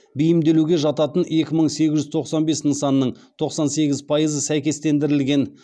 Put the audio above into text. бейімделуге жататын екі мың сегіз жүз тоқсан бес нысанның тоқсан сегіз пайызы сәйкестендірілген